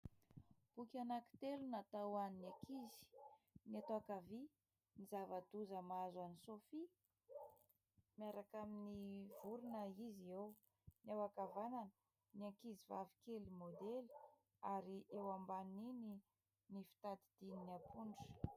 Boky anankitelo natao ho an'ny ankizy : eto ankavia "Ny zava-doza mahazo an'i Sophie" miaraka amin'ny vorona izy eo, eo ankavanana "Ny ankizy vavikely maodely" ary eo ambanin'iny "Ny fitadidian'ny ampondra".